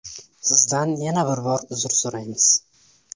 Sizdan yana bir bor uzr so‘raymiz.